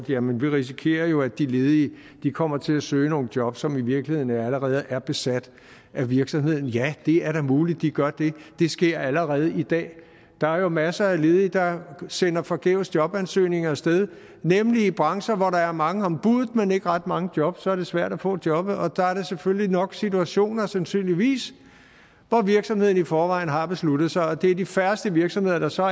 jamen vi risikerer jo at de ledige kommer til at søge nogle job som i virkeligheden allerede er besat af virksomheden ja det er da muligt at de gør det det sker allerede i dag der er jo masser af ledige der sender forgæves jobansøgninger af sted nemlig i brancher hvor der er mange om buddet men ikke mange job så er det svært at få jobbet og der er selvfølgelig nok situationer sandsynligvis hvor virksomheden i forvejen har besluttet sig og det er de færreste virksomheder der så